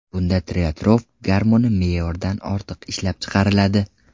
Bunda tireotrop gormoni me’yordan ortiq ishlab chiqariladi.